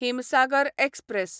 Himsagar express